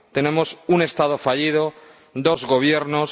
Tenemos un Estado fallido, dos Gobiernos.